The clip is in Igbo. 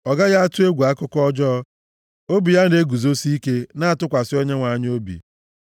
Ọ gaghị atụ egwu akụkọ ọjọọ; obi ya na-eguzosi ike, na-atụkwasị Onyenwe anyị obi.